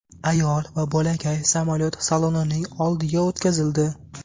Ayol va bolakay samolyot salonining oldiga o‘tkazildi.